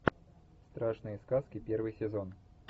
страшные сказки первый сезон